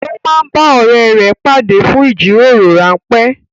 Ó máa ń bá ọ̀rẹ́ rẹ pàdé fún ìjíròrò rán pé